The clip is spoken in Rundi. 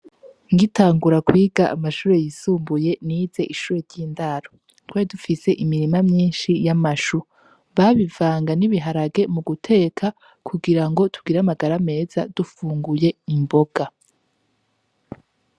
Ngitangura amashure yisumbuye nize ishure ry'indaro twar dufis'imirima myinshi y'amashu babivanga n'ibiharage muguteka kugirango tugir'amagara meza dufunguye imboga.